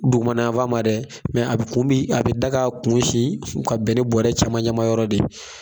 Dugumanafan ma dɛ mɛ a kun bi a bi da ga a kun sin ka bɛn ni bɔrɛ camancɛ ma yɔrɔ de ye